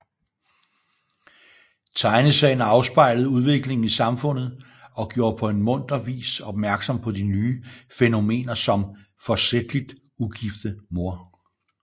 Tegneserien afspejlede udviklingen i samfundet og gjorde på en munter vis opmærksom på de nye fænomener som Forsætligt ugifte mor